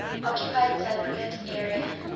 occupied cypriot area